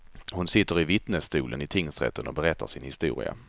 Hon sitter i vittnesstolen i tingsrätten och berättar sin historia.